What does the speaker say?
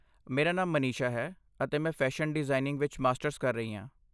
ਮੇਰਾ ਨਾਮ ਮਨਿਸ਼ਾ ਹੈ, ਅਤੇ ਮੈਂ ਫੈਸ਼ਨ ਡਿਜ਼ਾਇਨਿੰਗ ਵਿੱਚ ਮਾਸਟਰਜ਼ ਕਰ ਰਹੀ ਹਾਂ।